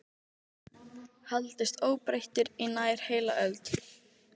haldist óbreyttur í nær heila öld.